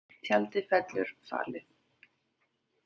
Tjaldið fellur fallið